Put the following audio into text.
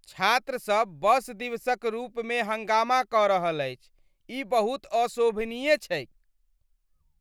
छात्रसभ बस दिवसक रूपमे हंगामा कऽ रहल अछि ई बहुत अशोभनीय छैक ।